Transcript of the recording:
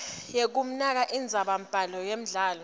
yekumaka indzabambhalo yemdlalo